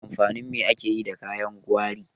Amfanin me ake yi da kayan gwari?